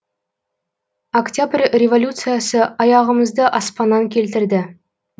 оқтябрь революциясы аяғымызды аспаннан келтірді